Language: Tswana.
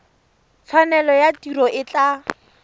tshwanelo ya tiro e tla